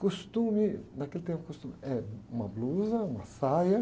Costume, naquele tempo costume é uma blusa, uma saia.